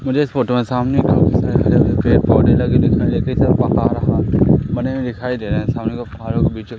मुझे इस फोटो में सामने की ओर कई सारे हरे-हरे पेड़-पौधे लगे हुए दिखाई दे बने हुए दिखाई दे रहे सामने दो पहाड़ों के बीचो --